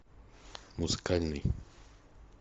музыкальный